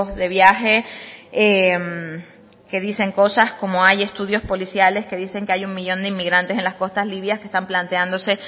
de viaje que dicen cosas como hay estudios policiales que dicen que hay un millón de inmigrantes en las costas libia que están planteándose